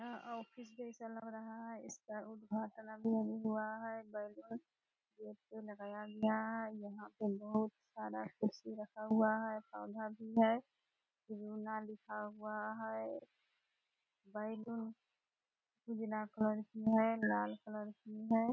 यह ऑफिस जैसा लग रहा है इसका उद्घाटन अभी-अभी हुआ है बैलून गेट पे लगाया गया है यहाँ पे बहोत सारा कुर्सी रखा हुआ है पौधा भी है रोना लिखा हुआ है बैलून उजला कलर की है लाल कलर की है ।